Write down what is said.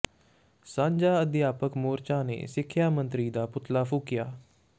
ਸਾਂਝਾ ਆਧਿਆਪਕ ਮੋਰਚਾ ਨੇ ਸਿੱਖਿਆ ਮੰਤਰੀ ਦਾ ਪੁਤਲਾ ਫੂਕਿਆ